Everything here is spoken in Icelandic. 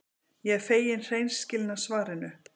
Ég er fegin hreinskilnu svarinu.